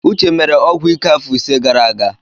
Uche mere ọgwụ ike afọ ise gara aga.